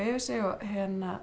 yfir sig og